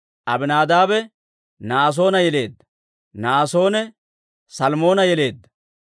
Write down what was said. Aminaadaabe Na'asoona yeleedda; Na'asoone Salmoona yeleedda;